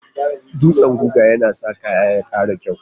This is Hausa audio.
Dutsan guga yana sa kaya ya ƙara kyau.